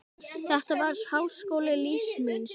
Þetta var háskóli lífs míns.